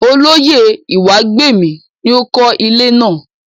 Olóyè Ìwágbèmí ni ó kó ilé náà.